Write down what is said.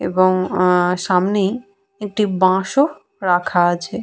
এবং আহঃ সামনেই একটি বাঁশ ও রাখা আছে।